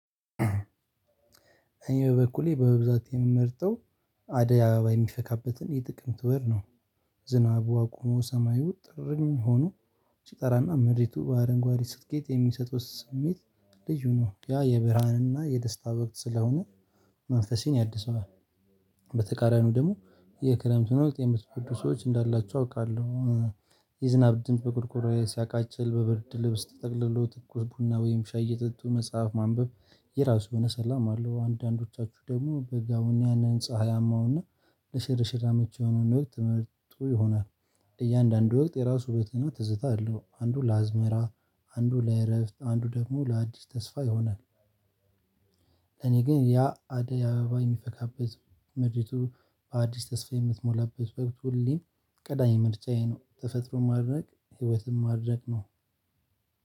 እኔ በበኩሌ በብዛት የምመርጠው አደይ አበባ የሚፈካበትን የጥቅምት ወር ነው። ዝናቡ አቁሞ ሰማዩ ጥርኝ ሆኖ ሲጠራና ምድሪቱ በአረንጓዴ ስትጌጥ የሚሰጥ ስሜት ልዩ ነው ያ የብርሃንና የደስታ ወቅት ስለሆነ መንፈሴን ያድሰዋል። በተቃራኒው ደግሞ የክረምቱን ወቅት የምትወዱ ሰዎች እንዳላችሁ አውቃለሁ። የዝናብ ድምጽ በቆርቆርዬ ሲያቃጭል በብርድ ልብስ ተጠቅልሎ ትኩስ ቡና ወይም ሻይ እየጠጡ መጽሐፍ ማንበብ የራሱ የሆነ ሰላም አለው። አንዳንዶቻችሁ ደግሞ በጋውን ያንን ፀሀያማውንና ለሽርሽር አመቺ የሆነውን ነገር ትመርጡ ይሆናል። እያንዳንዱ ወቅት የራሱ ውበትና ትዝታ አለው። አንዱ ለአዝመራ አንዱ ለእረፍት አንዱ ደግሞ ለአዲስ ተስፋ ይሆናል። እኔ ግን ያ አደይ አበባ የሚፈካበት ምድሪቱ በአዲስ ተስፋ የምትሞላበት ወቅት ሁሌም ቀዳሚ ምርጫዬ ነው። ተፈጥሮን ማድነቅ ህይወትን ማድነቅ ነው።